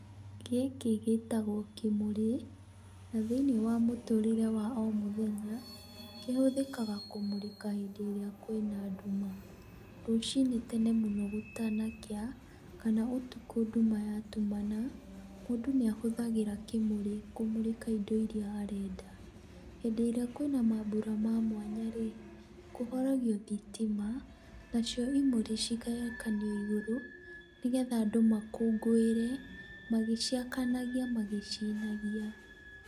Gĩkĩ gĩtagwo kĩmũrĩ, na thĩinĩ wa mũtũrĩre wa o mũthenya, kĩhũthĩkaga kũmũrĩka hindĩ ĩrĩa kwĩna nduma. Rũcinĩ tene mũno, gũtanakĩa, kana ũtukũ nduma ya tumana, mũndũ nĩahũthagĩra kĩmũrĩ kũmũrĩka indo iria arenda. Hĩndĩ ĩrĩa kwĩna mambũra ma mwanya rĩ, kũhoragio thitima, nacio imũrĩ cigakanio igũrũ, nĩgetha andũ makũngũĩre, magĩciakanagia, magĩcinagia.